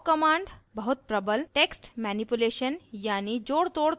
awk command बहुत प्रबल text manipulation यानी जोड़तोड़ करने का tool है